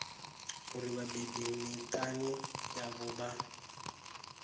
uri vhabebi miṱani yavho vha